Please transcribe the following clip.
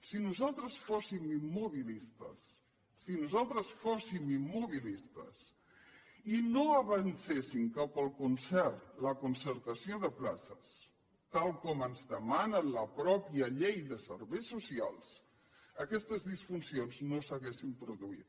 si nosaltres fóssim immobilistes i no avancéssim cap al concert la concertació de places tal com ens demana la mateixa llei de serveis socials aquestes disfuncions no s’haurien produït